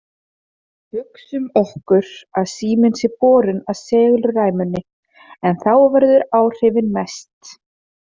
Hugsum okkur að síminn sé borinn að segulræmunni, en þá verða áhrifin mest.